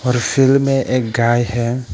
और फील्ड में एक गाय है।